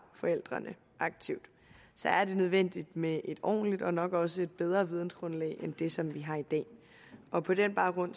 forældrene aktivt så er det nødvendigt med et ordentligt og nok også bedre vidensgrundlag end det som vi har i dag og på den baggrund